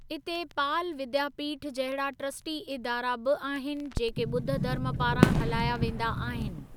इते पाल विद्यापीठ जहिड़ा ट्रस्टी इदारा बि आहिनि, जेके ॿुध्द धर्म पारां हलाया वेंदा आहिनि।